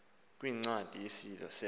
kwincwadi yesimi selo